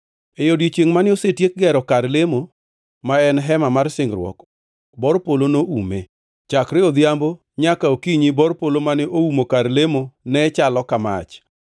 E odiechiengʼ mane osetiek gero kar lemo, ma en Hema mar Singruok, bor polo noume. Chakre odhiambo nyaka okinyi bor polo mane oumo kar lemo ne chalo ka mach.